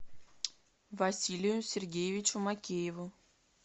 василию сергеевичу макееву